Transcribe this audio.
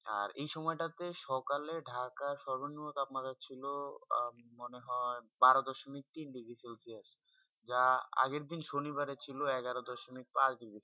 এই সময়ে তা তে সকাল ঢাকা সর্পূণ তাপমান ছিল মনে হয়ে বড় দস্যলোভ তিন ডিগ্রী সেলসিয়াস যা আগে দিন শনিবারে ছিল এগারো দস্যলোভ পাঁচ ডিগ্রী সেলসিয়াস